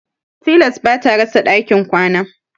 Tilas bata rasa ɗakin kwana.